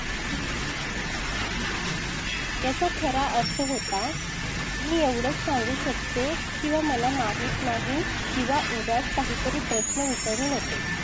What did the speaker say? याचा खरा अर्थ होता मी एवढंच सांगू शकतो किंवा मला माहीत नाही किंवा उगाच काहीतरी प्रश्न विचारू नकोस.